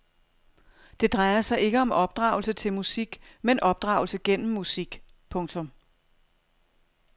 Det drejer sig ikke om opdragelse til musik men opdragelse gennem musik. punktum